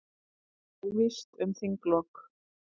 Óvíst um þinglok